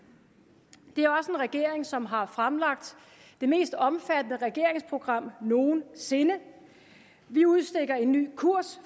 det er også regering som har fremlagt det mest omfattende regeringsprogram nogen sinde vi udstikker en ny kurs